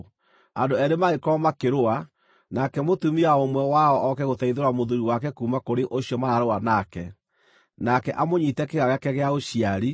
Andũ eerĩ mangĩkorwo makĩrũa, nake mũtumia wa ũmwe wao oke gũteithũra mũthuuri wake kuuma kũrĩ ũcio maraarũa nake, nake amũnyiite kĩĩga gĩake gĩa ũciari,